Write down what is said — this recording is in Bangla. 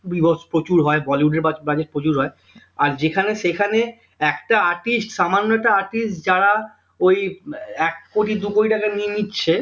বীভৎস প্রচুর হয় bollywood এর বা budget প্রচুর হয় আর যেখানে সেখানে একটা artist সামান্য একটা artist যারা ওই আহ এক কোটি দু কোটি টাকা নিয়ে নিচ্ছে